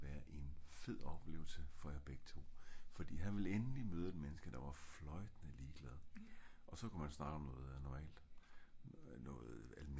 jeg tror at det ville være en fed oplevelse for jer begge to fordi han ville egentlig møde et menneske der fløjtende ligeglad og så ku man snakke om noget normalt noget almindeligt